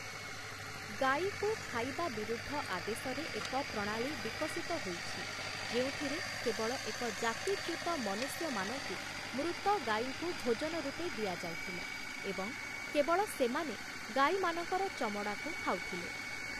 ଗାଈକୁ ଖାଇବା ବିରୁଦ୍ଧ ଆଦେଶରେ ଏକ ପ୍ରଣାଳୀ ବିକଶିତ ହୋଇଛି ଯେଉଁଥିରେ କେବଳ ଏକ ଜାତିଚ୍ୟୁତ ମନୁଷ୍ୟମାନଙ୍କୁ ମୃତ ଗାଈଙ୍କୁ ଭୋଜନ ରୂପେ ଦିଆ ଯାଉଥିଲା ଏବଂ କେବଳ ସେମାନେ ଗାଈମାନଙ୍କର ଚମଡ଼ାକୁ ଖାଉଥିଲେ ।